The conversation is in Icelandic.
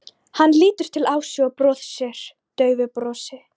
Hann lítur til Ásu og brosir daufu brosi.